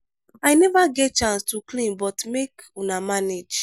i never get chance to clean but make una manage.